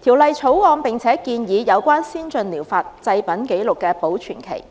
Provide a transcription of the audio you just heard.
《條例草案》並且建議，有關先進療法製品紀錄的保存期，